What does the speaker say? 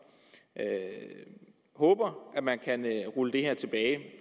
håber at man kan rulle det her tilbage